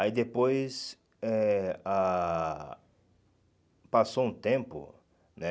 Aí depois... eh ah Passou um tempo, né?